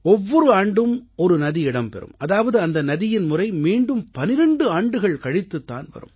ஒவ்வொரு ஆண்டும் ஒரு நதி இடம்பெறும் அதாவது அந்த நதியின் முறை மீண்டும் 12 ஆண்டுகள் கழித்துத் தான் வரும்